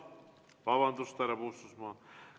Vabandust, härra Puustusmaa!